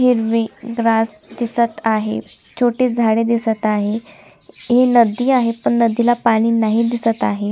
Greenery grass दिसत आहे छोटे झाड दिसत आहे ही नदी आहे पण नदीला पानी नाही दिसत आहे.